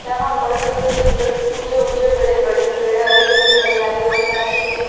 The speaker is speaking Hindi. यहां पर सुंदर सुंदर ऊंचे ऊंचे बड़े-बड़े पेड़ है हरि भरी हरियाली और साथ ही में --